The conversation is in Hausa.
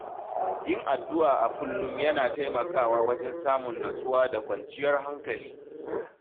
Yin addu’a a kullum yana taimakawa wajen samun natsuwa da kwanciyar hankali.